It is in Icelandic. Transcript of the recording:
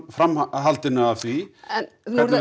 framhaldi af því er